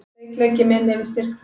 Veikleiki minn yfir styrk þinn.